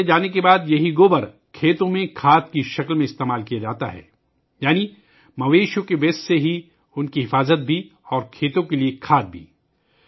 سردیوں کے بعد گائے کے اس گوبر کو کھیتوں میں کھاد کے طور پر استعمال کیا جاتا ہے یعنی جانوروں کے فضلے سے ان کی حفاظت بھی اور کھیتوں کے لئے کھاد بھی